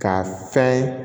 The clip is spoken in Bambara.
Ka fɛn